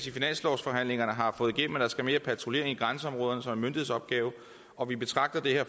i finanslovsforhandlingerne har fået igennem at der skal mere patruljering i grænseområderne som en myndighedsopgave og vi betragter det her